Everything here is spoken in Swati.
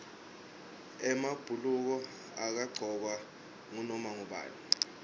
emabhuluko angagcokwa ngunoma ngubani